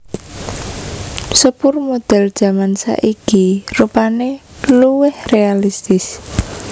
Sepur modèl jaman saiki rupané luwih réalistis